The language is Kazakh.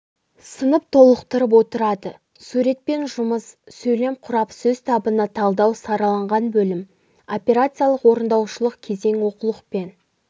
сынып толықтырып отырады суретпен жұмыс сөйлем құрап сөз табына талдау сараланған бөлім операциялық орындаушылық кезең оқулықпен